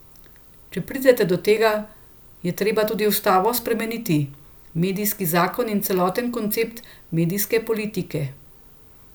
Če res pride do tega, je treba tudi ustavo spremeniti, medijski zakon in celoten koncept medijske politike.